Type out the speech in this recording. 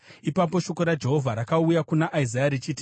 Ipapo shoko raJehovha rakauya kuna Isaya richiti,